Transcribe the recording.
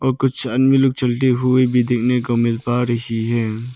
और कुछ आदमी लोग चलते हुए भी देखने को मिल पा रही है।